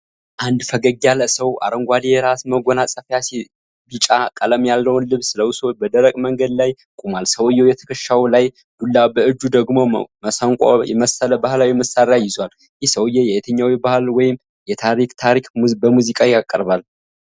አንድ ፈገግ ያለ ሰው አረንጓዴ የራስ መጎናጸፊያና ቢጫ ቀለም ያለውን ልብስ ለብሶ በደረቅ መንገድ ላይ ቆሟል። ሰውየው ትከሻው ላይ ዱላ፣ በእጁ ደግሞ መሰንቆ የመሰለ ባህላዊ መሣሪያ ይዟል። ይህ ሰውዬ የትኛውን የባህል ወይም የታሪክ ታሪክ በሙዚቃ ያቀርባል?